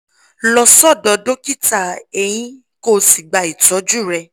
lọ sọ́dọ̀ dókítà eyín kó o sì gba ìtọ́jú rẹ